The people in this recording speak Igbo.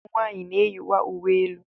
Ụmụ nwaanyị na-eyikwa uwe elu.